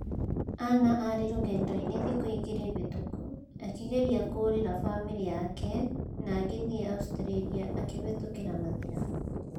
Annah arĩ rũgendo-inĩ thiku igĩrĩ hĩtũku, akĩgeria kũũrĩra famĩrĩ yake na agĩthiĩ Australia akĩhĩtũkĩra Mathira".